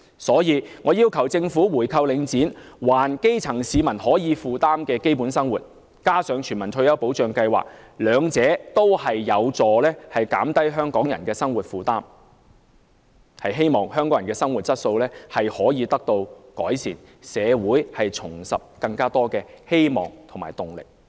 所以，我要求政府回購領展，還基層市民能夠負擔的基本生活，再加上推行全民退休保障計劃，兩者均有助減低香港人的生活負擔，希望香港人的生活質素得以改善，讓社會重拾希望和動力。